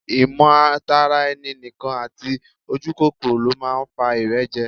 Ìmọ̀ tara ẹni nìkan àti ojúkòkòrò ló máa ń fa ìrẹ́jẹ